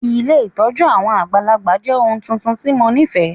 Ilé ìtójú àwon àgbàlagbà jẹ oun tuntun ti mo nifẹ.